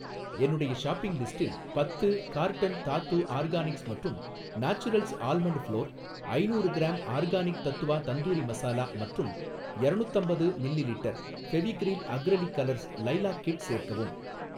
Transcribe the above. என்னுடைய ஷாப்பிங் லிஸ்டில் பத்து கார்ட்டன் தாத்து ஆர்கானிக்ஸ் மற்றும் நாச்சுரல்ஸ் ஆல்மண்ட் ஃப்ளோர், ஐணூறு க்ராம் ஆர்கானிக் தத்வா தந்தூரி மசாலா மற்றும் யரணுத்தம்பது millilitre Fevicryl acrylic colours lilac kit சேர்க்கவும்.